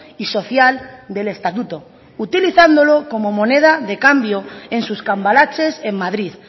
y social del estatuto utilizándolo como moneda de cambio en sus cambalaches en madrid